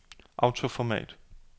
autoformat